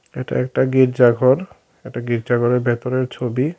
এটা একটা গির্জা ঘর একটা গির্জা ঘরের ভেতরের ছবি।